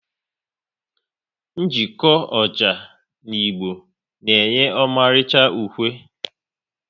Njeko ọjà na ịgba na enye ọmalicha ukwe